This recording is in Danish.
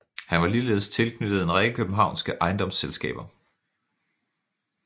Han var ligeledes tilknyttet en række københavnske ejendomsselskaber